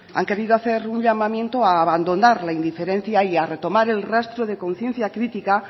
han querido hacer un llamamiento a abandonar la indiferencia y a retomar el rastro de conciencia crítica